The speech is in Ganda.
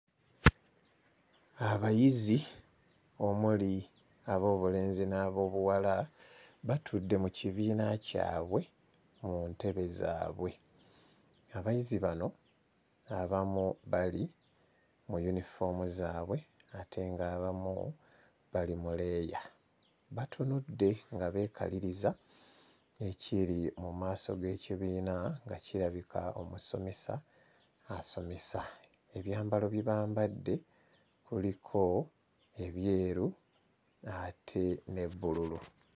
Abayizi omuli ab'obulenzi n'ab'obuwala batudde mu kibiina kyabwe mu ntebe zaabwe abayizi bano abamu bali mu yunifoomu zaabwe ate ng'abamu bali mu leeya batunudde nga beekaliriza ekiri mu maaso g'ekibiina nga kirabika omusomesa asomesa ebyambalo bye bambadde kuliko ebyeru ate ne bbululu.